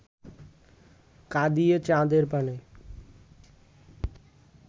কাঁদিয়ে চাঁদের পানে